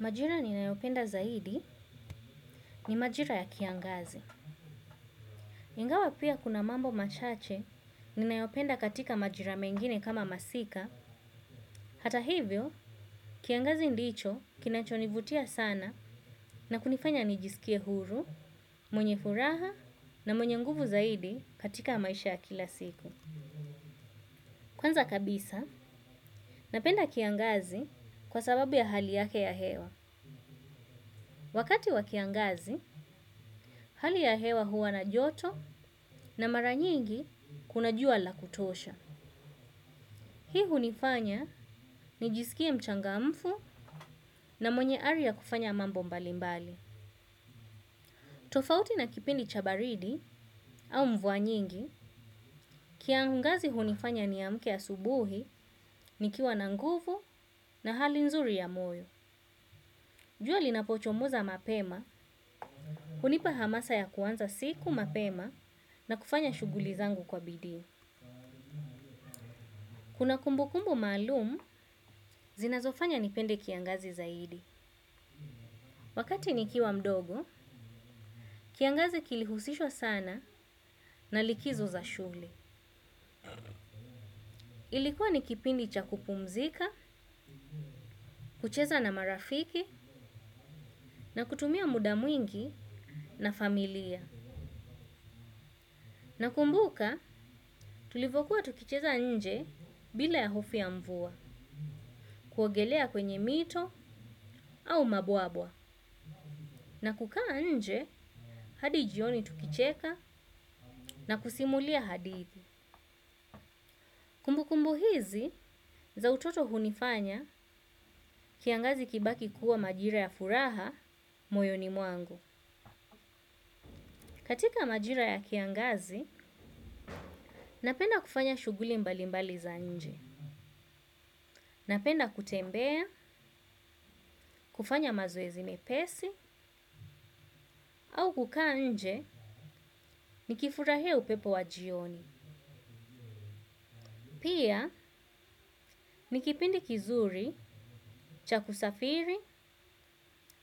Majira ninayopenda zaidi ni majira ya kiangazi. Ingawa pia kuna mambo machache ninayopenda katika majira mengine kama masika. Hata hivyo, kiangazi ndicho kinachonivutia sana na kunifanya nijisikie huru, mwenye furaha na mwenye nguvu zaidi katika maisha ya kila siku. Kwanza kabisa, napenda kiangazi kwa sababu ya hali yake ya hewa. Wakati wa kiangazi, hali ya hewa huwa na joto na mara nyingi kuna jua la kutosha. Hii hunifanya nijisikie mchangamfu na mwenye ari ya kufanya mambo mbalimbali. Tofauti na kipindi cha baridi au mvua nyingi, kiangazi hunifanya niamke asubuhi nikiwa na nguvu na hali nzuri ya moyo. Jua linapochomoza mapema, hunipa hamasa ya kuanza siku mapema na kufanya shughuli zangu kwa bidii. Kuna kumb kumbu maalum, zinazofanya nipende kiangazi zaidi. Wakati nikiwa mdogo, kiangazi kilihusishwa sana na likizo za shule. Ilikuwa ni kipindi cha kupumzika, kucheza na marafiki na kutumia muda mwingi na familia. Nakumbuka, tulivyokuwa tukicheza nje bila ya hofu ya mvua, kuogelea kwenye mito au mabwawa. Na kukaa nje, hadi jioni tukicheka na kusimulia hadithi. Kumbukumbu hizi za utoto hunifanya kiangazi kibaki kuwa majira ya furaha moyoni mwangu. Katika majira ya kiangazi napenda kufanya shughuli mbali mbali za nje. Napenda kutembea, kufanya mazoezi mepesi au kukaa nje nikifurahia upepo wa jioni. Pia ni kipindi kizuri cha kusafiri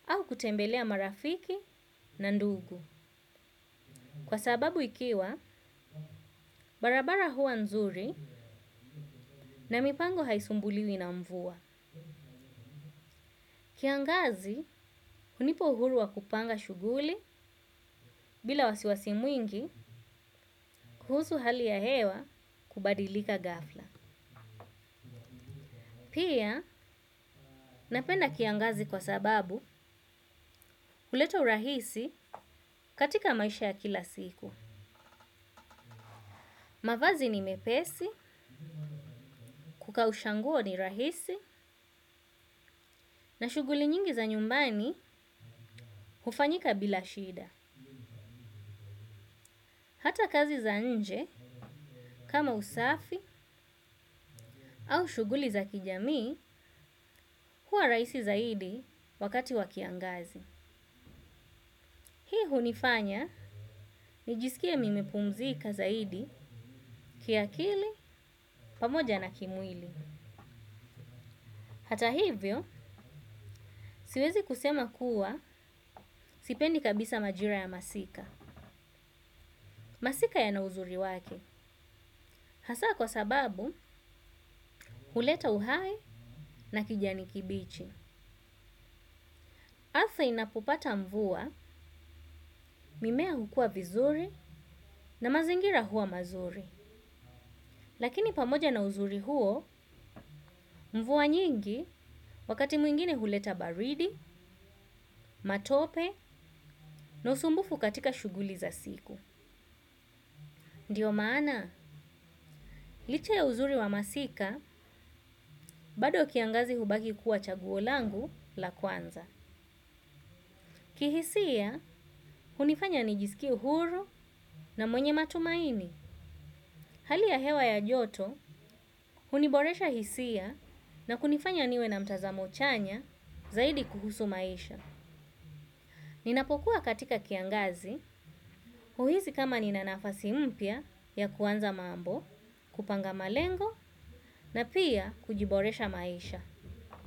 au kutembelea marafiki na ndugu. Kwa sababu ikiwa, barabara huwa nzuri na mipango haisumbuliwi na mvua. Kiangazi, hunipa uhuru wa kupanga shughuli bila wasiwasi mwingi kuhusu hali ya hewa kubadilika ghafla. Pia, napenda kiangazi kwa sababu huleta urahisi katika maisha ya kila siku. Mavazi ni mepesi kukausha nguo ni rahisi na shughuli nyingi za nyumbani hufanyika bila shida. Hata kazi za nje kama usafi au shughuli za kijamii huwa rahisi zaidi wakati wa kiangazi. Hii hunifanya nijisikie nimepumzika zaidi kiakili pamoja na kimwili. Hata hivyo siwezi kusema kuwa sipendi kabisa majira ya masika. Masika yana uzuri wake. Hasa kwa sababu huleta uhai na kijani kibichi. Hasa inapopata mvua, mimea hukua vizuri na mazingira huwa mazuri. Lakini pamoja na uzuri huo mvua nyingi wakati mwingine huleta baridi, matope na usumbufu katika shughuli za siku. Ndio maana, licha ya uzuri wa masika, bado kiangazi hubaki kuwa chaguo langu la kwanza. Kihisia, hunifanya nijisikie uhuru na mwenye matumaini. Hali ya hewa ya joto, huniboresha hisia na kunifanya niwe na mtazamo chanya zaidi kuhusu maisha. Ninapokuwa katika kiangazi, huhisi kama nina nafasi mpya ya kuanza mambo, kupanga malengo na pia kujiboresha maisha.